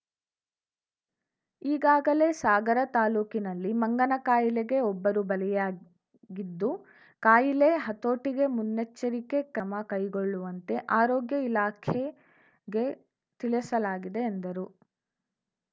ಈಗಾಗಲೇ ಸಾಗರ ತಾಲೂಕಿನಲ್ಲಿ ಮಂಗನ ಕಾಯಿಲೆಗೆ ಒಬ್ಬರು ಬಲಿಯಾಗಿದ್ದು ಕಾಯಿಲೆ ಹತೋಟಿಗೆ ಮುನ್ನೆಚ್ಚರಿ ಕ್ರಮ ಕೈಗೊಳ್ಳುವಂತೆ ಆರೋಗ್ಯ ಇಲಾಖೆಗೆ ತಿಳಿಸಲಾಗಿದೆ ಎಂದರು